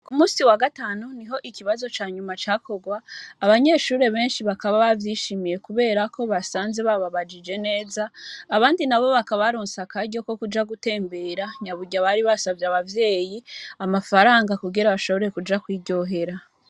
Ku musi wa gatanu niho ikibazo canyuma cakorwa, abanyeshure benshi bakaba bavyishimiye kubera ko basanze bababajije neza, abandi nabo bakaba baronse akaryo ko kuja gutembera narirya bari basavye abavyeyi amafaranga kugira bashobore kuja kwiryohera.